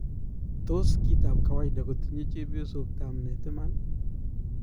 Tos kit ap kawaida kotinye chepyosok tamnet imani?